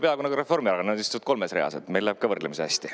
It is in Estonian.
Peaaegu nagu Reformierakond, nad istuvad kolmes reas, neil läheb ka võrdlemisi hästi.